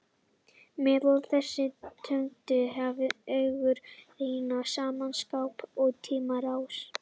Meðal þessara tegunda hafa augun rýrnað að sama skapi í tímans rás.